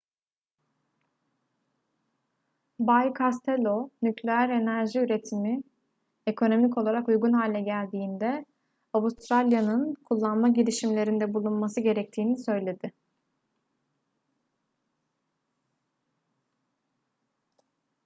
bay costello nükleer enerji üretimi ekonomik olarak uygun hale geldiğinde avustralya'nın kullanma girişimlerinde bulunması gerektiğini söyledi